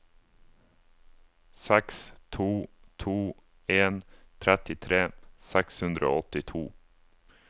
seks to to en trettitre seks hundre og åttito